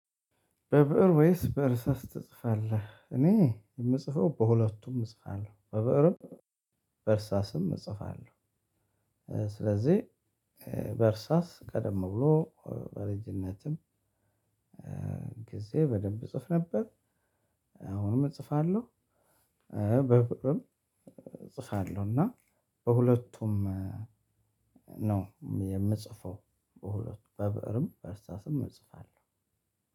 በብእር ወይስ በእርሳስ ትጽፋለህ? እኔ የምጽፈው በሁለቱም እጽፋለሁ በብእርም በእርሳስም እጽፋለሁ። ስለዚህ በእርሳስ ቀደም ብሎ በልጅነትም ጊዜ በደንብ እፅፍ ነበር። አሁንም እጽፋለሁ። በብእርም እፅፋለሁና በሁለቱም ነው የምጽፈው በሁለቱ በብእርም በእርሳስም እጽፋለሁ።